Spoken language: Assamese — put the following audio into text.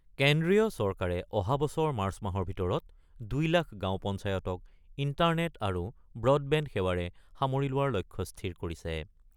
কেন্দ্ৰীয় চৰকাৰে অহাবছৰ মাৰ্চ মাহৰ ভিতৰত ২ লাখ গাওঁ পঞ্চায়তক ইণ্টাৰনেট আৰু ব্ৰডবেণ্ড সেৱাৰে সামৰি লোৱাৰ লক্ষ্য স্থিৰ কৰিছে।